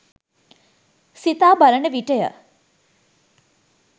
සිතා බලන විටය.